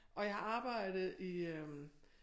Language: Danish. Og jeg har arbejdet i øh